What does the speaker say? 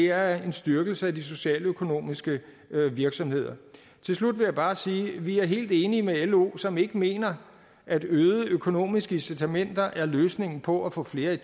er en styrkelse af de socialøkonomiske virksomheder til slut vil jeg bare sige at vi er helt enige med lo som ikke mener at øgede økonomiske incitamenter er løsningen på at få flere i